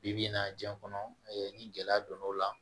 Bi bi in na diɲɛ kɔnɔ ni gɛlɛya donn'o la